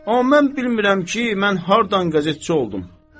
Amma mən bilmirəm ki, mən hardan qəzetçi oldum.